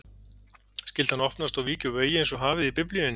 Skyldi hann opnast og víkja úr vegi einsog hafið í Biblíunni?